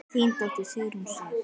Þín dóttir, Sigrún Sif.